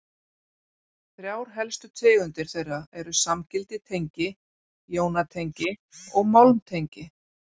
Þrjár helstu tegundir þeirra eru samgild tengi, jónatengi og málmtengi.